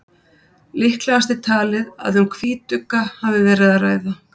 líklegast er talið að um hvítugga hafi verið að ræða